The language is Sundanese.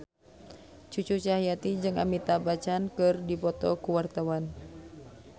Cucu Cahyati jeung Amitabh Bachchan keur dipoto ku wartawan